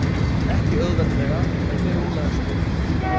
Ekki auðveldlega, en þeir rúlla þessu heim.